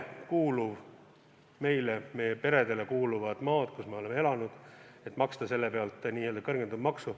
Kui meie peredele kuulub maa, kus nad on ikka elanud, siis oleks raske maksta selle eest n-ö kõrgendatud maksu.